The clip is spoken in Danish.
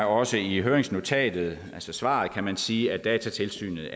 også i høringsnotatet altså svaret kan man sige at datatilsynet